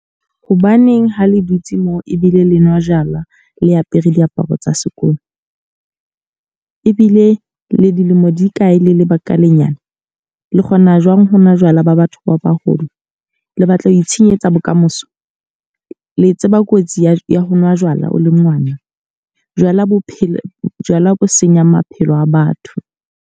Hobaneng ha le dutse mo ebile le nwa jalwa le apere diaparo tsa sekolo? Ebile le dilemo di kae le le bakalenyana? Le kgona jwang hona jwala ba batho ba baholo? Le batla ho itshenyetsa bokamoso? Le tseba kotsi ya ho nwa jwala o le ngwana? Jwala bophelo, jwala bo senyang maphelo a batho.